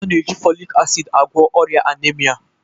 A na-eji folic acid agwọ ọrịa anaemia